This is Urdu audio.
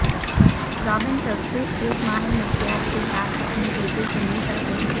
رابن ٹک صرف ایک ماہر نفسیات کے ساتھ اپنے بیٹے سے مل سکتے ہیں